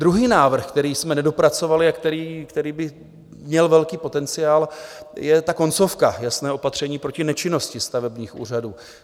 Druhý návrh, který jsme nedopracovali a který by měl velký potenciál, je ta koncovka - jasné opatření proti nečinnosti stavebních úřadů.